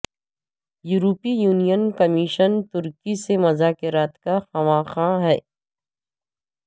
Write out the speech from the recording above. یورپی union commission ترکی سے مذاکرات کا خواہاں ہے